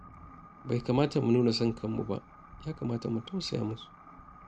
Bai kamata mu nuna san kanmu ba, ya kamata mu tausaya musu.